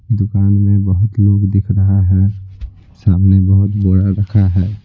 दुकान में बहुत लोग दिख रहा है सामने बहुत रखा है।